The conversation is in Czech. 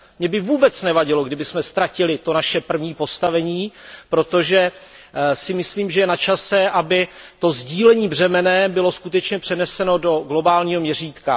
Mně by vůbec nevadilo, kdybychom ztratili to naše první postavení, protože si myslím, že je na čase, aby to břemenné sdílení bylo skutečně přeneseno do globálního měřítka.